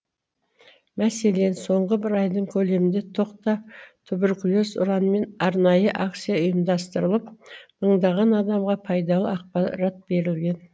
мәселен соңғы бір айдың көлемінде тоқта туберкулез ұранымен арнайы акция ұйымдастырылып мыңдаған адамға пайдалы ақпарат берілген